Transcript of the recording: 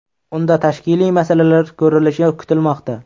Unda tashkiliy masalalar ko‘rilishi kutilmoqda.